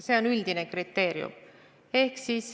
See on üldine kriteerium.